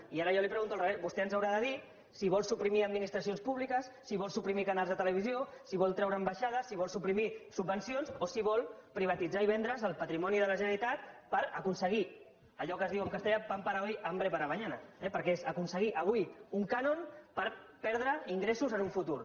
i ara jo li ho pregunto al revés vostè ens haurà de dir si vol suprimir administracions públiques si vol suprimir canals de televisió si vol treure ambaixades si vol suprimir subvencions o si vol privatitzar i vendre’s el patrimoni de la generalitat per aconseguir allò que es diu en castellà pan para hoy hambre para mañana perquè és aconseguir avui un cànon per perdre ingressos en el futur